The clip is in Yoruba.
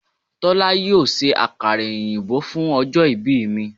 Tólá yóò se àkàrà òyìnbó fún ojó ibí mi